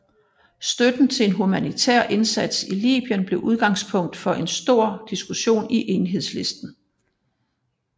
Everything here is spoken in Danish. Støtten til en humanitær indsats i Libyen blev udgangspunkt for en stor diskussion i Enhedslisten